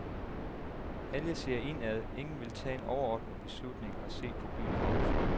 Alle ser indad, ingen vil tage en overordnet beslutning og se på byen oppefra.